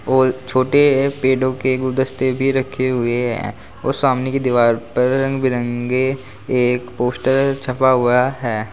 और छोटे पेड़ो के गुलदस्ते भी रखे हुए हैं और सामने की दीवार पर रंग बिरंगे एक पोस्टर छपा हुआ है।